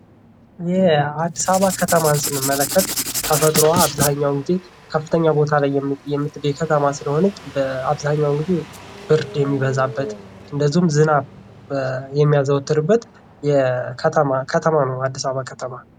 የአዲስ አበባን ከተማ ስንመለከት ተፈጥሮዋ አበዛኛውን ጊዜ ከፍተኛ ቦታ ላይ ከተማ ስለሆነች አብዛኛን ጊዜ ብርድ የሚበዛበት እንዲሁም ዝናብ የሚያዘወትርበት ከተማ ነው አዲስ አበባ ከተማ።